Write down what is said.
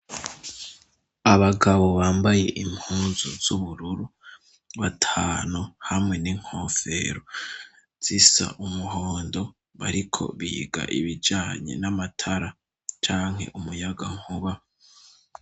Inyubako ayubakishijwe n'udutafari duto duto duhiye, ariko urupapuro rusize n'irangi ry' umuhondo, ariko ibiharuro n'indome rimwe kabiri gatatu kane gatanu gatandatu indwi umunani cenda cu mi.